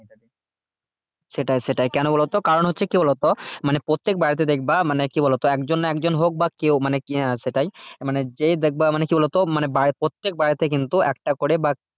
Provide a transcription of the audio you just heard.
সেটাই সেটাই কেন বলতো কারণ হচ্ছে কি বলতো মানে প্রত্যেক বাড়িতে দেখবে মানে কি বলতো মানে একজন না একজন হোক বা কেউ মানে কি আহ সেটাই মানে যেই দেখবে মানে কি বলতো মানে প্রত্যেক বাড়িতে কিন্তু একটা করে বা